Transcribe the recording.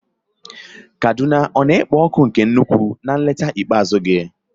Kaduna ọ na-ekpo ọkụ nke ukwuu na nleta ikpeazụ gị?